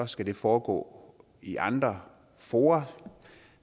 skal det foregå i andre fora